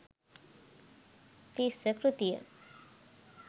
තිස්ස කෘතිය